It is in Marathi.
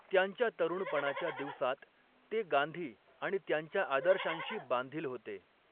त्यांच्या तरूणपणाच्या दिवसांत ते गांधी आणि त्यांच्या आदर्शांशी बांधील होते.